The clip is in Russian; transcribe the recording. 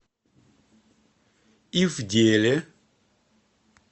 ивделе